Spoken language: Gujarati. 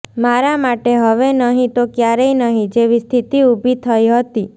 મારા માટે હવે નહીં તો ક્યારેય નહીં જેવી સ્થિતિ ઊભી થઈ હતી